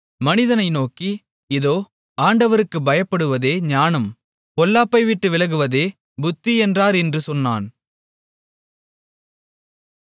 மனிதனை நோக்கி இதோ ஆண்டவருக்குப் பயப்படுவதே ஞானம் பொல்லாப்பை விட்டு விலகுவதே புத்தி என்றார் என்று சொன்னான்